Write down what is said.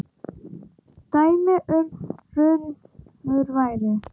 Dæmi um runur væri